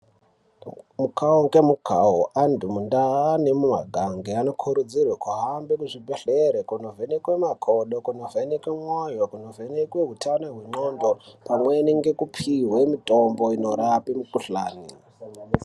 Mukavo ngemukavo antu mundaa nemumagange anokurudzirwe kuhambe muzvibhedhlere kunovheneke makogo. Kunovheneke mwoyo, kunovheneke hutano hendxondo. Pamweni nekupihwe mitombo inorape mikuhlani.